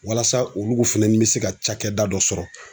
Walasa olugu fɛnɛni be se ka cakɛda dɔ sɔrɔ